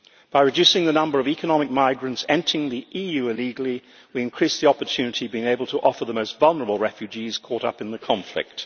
By reducing the number of economic migrants entering the EU illegally, we increase the opportunities we are able to offer the most vulnerable refugees caught up in the conflict.